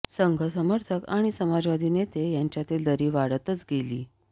संघ समर्थक आणि समाजवादी नेते यांच्यातील दरी वाढतच गेली